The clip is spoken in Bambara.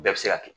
Bɛɛ bɛ se ka kɛ